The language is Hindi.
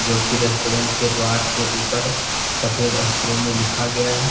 जो कि रेस्टोरेंट के द्वारा के ऊपर सफेद अक्षरों में लिखा गया--